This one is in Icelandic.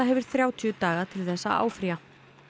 hefur þrjátíu daga til þess að áfrýja